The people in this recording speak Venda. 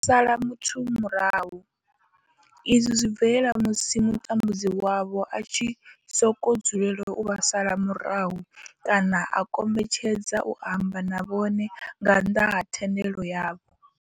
U sala muthu murahu izwi zwi bvelela musi mutambudzi wavho a tshi sokou dzulela u vha sala murahu kana a kombetshedza u amba na vhone nga nnḓa ha thendelo yavho.